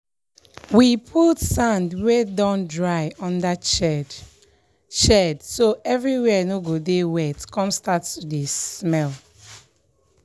we put sand wey don dry under shed shed so everywhere no go dey wet come start to dey smell